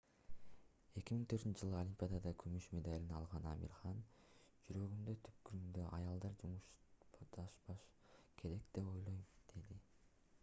2004-ж олимпиадада күмүш медалын алган амир хан жүрөгүмдүн түпкүрүндө аялдар мушташпашы керек деп ойлойм - деди